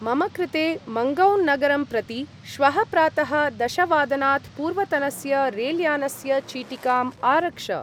मम कृते मन्गौं-नगरं प्रति श्वः प्रातः दशवादनात् पूर्वतनस्य रेल्यानस्य चीटिकाम् आरक्ष।